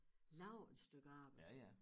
Laver et stykke arbejde